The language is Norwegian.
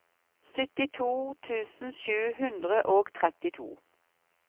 syttito tusen sju hundre og trettito